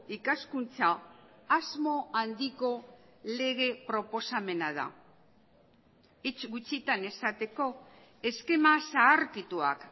ikaskuntza asmo handiko lege proposamena da hitz gutxitan esateko eskema zaharkituak